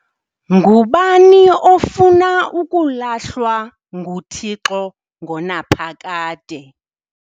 Ngubani ofuna ukulahlwa nguThixo ngonaphakade?